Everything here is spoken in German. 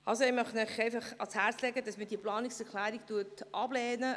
» Ich möchte Ihnen ans Herz legen, diese Planungserklärung abzulehnen.